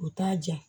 U t'a diya